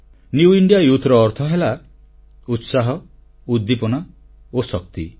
ନବ ଭାରତର ଯୁବଶକ୍ତି ବା ନ୍ୟୁ ଇଣ୍ଡିଆ ୟୁଥ୍ର ଅର୍ଥ ହେଲା ଉତ୍ସାହ ଉଦ୍ଦୀପନା ଓ ଶକ୍ତି